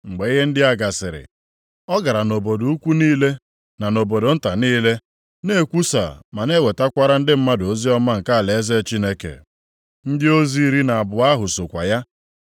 Mgbe ihe ndị a gasịrị, ọ gara nʼobodo ukwu niile na nʼobodo nta niile na-ekwusa ma na-ewetakwara ndị mmadụ oziọma nke alaeze Chineke. Ndị ozi iri na abụọ ahụ sokwa ya,